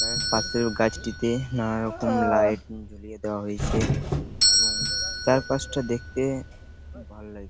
পাশের গাছটিতে নানারকম লাইট দিয়ে ঝুলিয়ে দেয়া হয়েছে | এবং চারপাশটা দেখতে ভালো লাগছে |